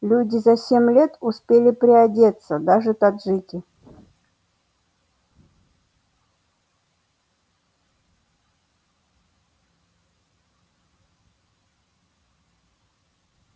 люди за семь лет успели приодеться даже таджики